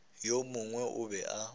yo mongwe o be a